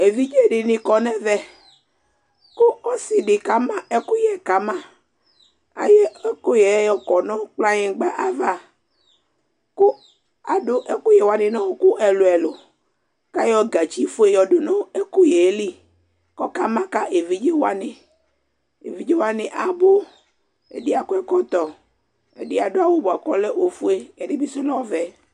evidze di ni kɔ n'ɛvɛ ko ɔse di kama ɛkoyɛ kama ayɔ ɛkoyɛ ɔkɔ no kplayigba ava ko ado ɛkoyɛ wani no ɔko ɛlò ɛlò k'ayɔ gatsi fue yɔdo no ɛkoyɛ li ko ɔka ma ka evidze wani evidze wani abò ɛdi akɔ ɛkɔtɔ ɛdi ado awu boa ko ɔlɛ ofue ɛdi bi so lɛ ɔvɛ